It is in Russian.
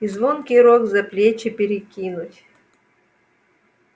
и звонкий рог за плечи перекинуть